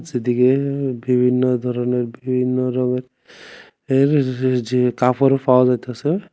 চারিদিকে বিভিন্ন ধরনের বিভিন্ন রঙের এর যে কাপড়ও পাওয়া যাইতেছে।